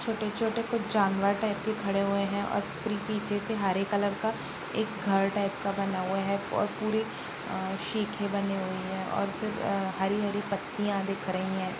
छोटे-छोटे कुछ जानवर टाईप खड़े हुए है और प्री पीछे से हरे कलर का एक घर टाइप का बना हुआ है और पूरे सीखे बने हुए है और फिर हरी-हरी पत्तियां दिख रही है।